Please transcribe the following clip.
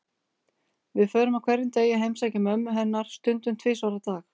Við förum á hverjum degi að heimsækja mömmu hennar, stundum tvisvar á dag.